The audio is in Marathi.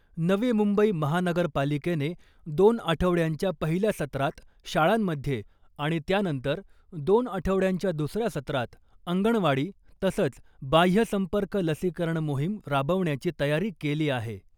नवी मुंबई महानगरपालिकेने दोन आठवड्यांच्या पहिल्या सत्रात शाळांमध्ये आणि त्यानंतर दोन आठवड्यांच्या दुसऱ्या सत्रात अंगणवाडी तसंच बाह्यसंपर्क लसीकरण मोहिम राबवण्याची तयारी केली आहे .